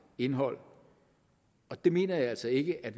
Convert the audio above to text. indhold og det mener jeg altså ikke at